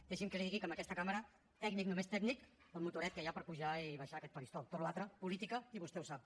deixi’m que li digui que en aquesta cambra tècnic només tècnic el motoret que hi ha per pujar i baixar aquest faristol tota la resta política i vostè ho sap